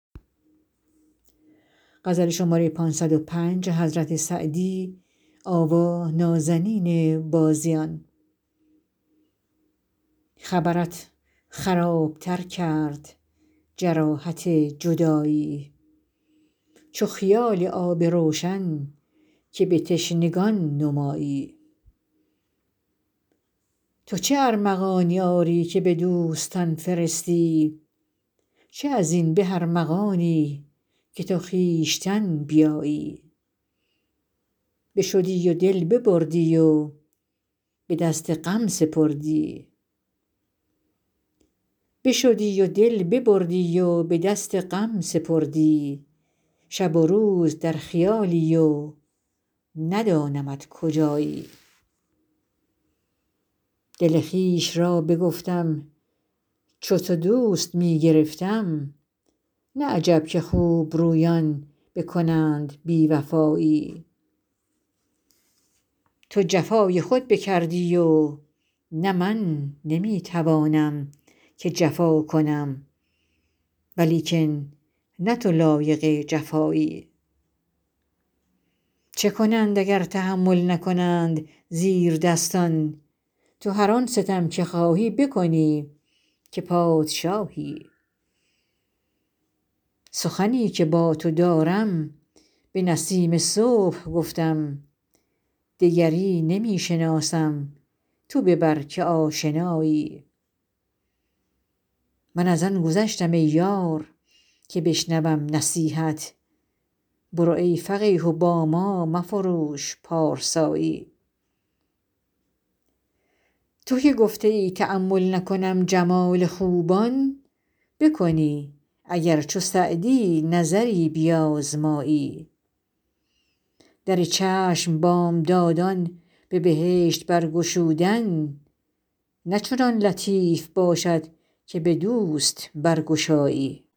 خبرت خراب تر کرد جراحت جدایی چو خیال آب روشن که به تشنگان نمایی تو چه ارمغانی آری که به دوستان فرستی چه از این به ارمغانی که تو خویشتن بیایی بشدی و دل ببردی و به دست غم سپردی شب و روز در خیالی و ندانمت کجایی دل خویش را بگفتم چو تو دوست می گرفتم نه عجب که خوبرویان بکنند بی وفایی تو جفای خود بکردی و نه من نمی توانم که جفا کنم ولیکن نه تو لایق جفایی چه کنند اگر تحمل نکنند زیردستان تو هر آن ستم که خواهی بکنی که پادشایی سخنی که با تو دارم به نسیم صبح گفتم دگری نمی شناسم تو ببر که آشنایی من از آن گذشتم ای یار که بشنوم نصیحت برو ای فقیه و با ما مفروش پارسایی تو که گفته ای تأمل نکنم جمال خوبان بکنی اگر چو سعدی نظری بیازمایی در چشم بامدادان به بهشت برگشودن نه چنان لطیف باشد که به دوست برگشایی